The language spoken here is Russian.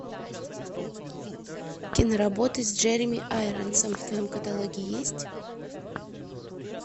киноработы с джереми айронсом в твоем каталоге есть